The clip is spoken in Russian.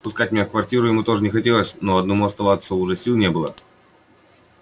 впускать меня в квартиру ему тоже не хотелось но и одному оставаться уже сил не было